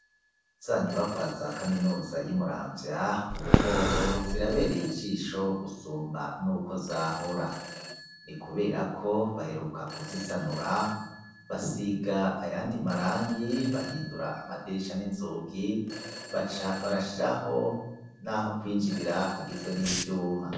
Zanyubakwa za kaminuza y'imuramvya, ubuhoho zirabereye ijisho gusumba n'uko zahora, ni kubera ko baheruka kuzisanura basiga ayandi marangi, bahindura amadirisha n'inzugi, barashiraho n'aho kwinjirira hagizwe n'ivyuma.